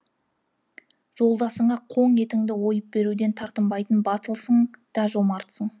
жолдасыңа қоң етіңді ойып беруден тартынбайтын батылсың да жомартсың